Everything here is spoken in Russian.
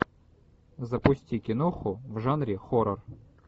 запусти киноху в жанре хоррор